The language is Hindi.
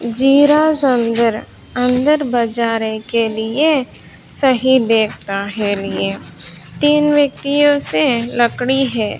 अंदर बजाने के लिए सही देखता है लिए तीन व्यक्तियों से लकड़ी है।